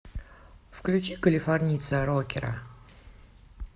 включи калифорнийца рокера